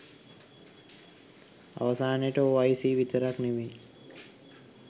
අවසානයට O I C විතරක් නෙමෙයි